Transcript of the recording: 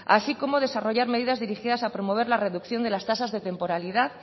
así como desarrollar medidas dirigidas a promover la reducción de las tasas de temporalidad